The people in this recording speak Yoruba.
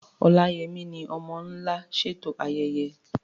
Oláyẹmí ni "Ọmọ́ Ńlá" ṣètò ayẹyẹ.